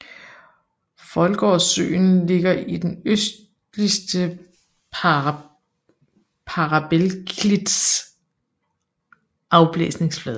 Foldgårdssøen ligger i den østligste parabelklits afblæsningsflade